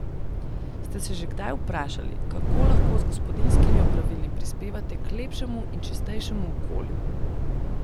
Ste se že kdaj vprašali, kako lahko z gospodinjskimi opravili prispevate k lepšemu in čistejšemu okolju?